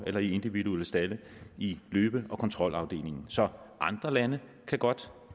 eller i individuelle stalde i løbe og kontrolafdelingen så andre lande kan godt